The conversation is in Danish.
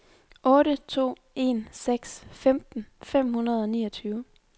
otte to en seks femten fem hundrede og niogtyve